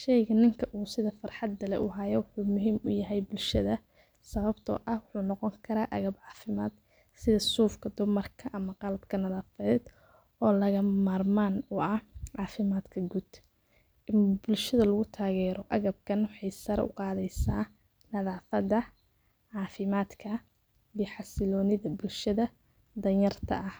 sheega ninka uu sa farxad dala uhayu muhiim u yaahay bulshada sabtoo ah wuxuu noqon karaa gab caafimaad sida suufka dhumarkaa ama qalabka nadaafadood oo laga maarmaan waca caafimaadka gud. Bulshada lagu taageero agabkan waxay sar u qaadeysaa nadaafada caafimaadka iyo xasiiloonida bulshada danyarta ah.